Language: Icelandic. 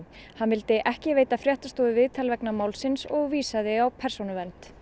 hann vildi ekki veita fréttastofu viðtal vegna málsins en vísaði á Persónuvernd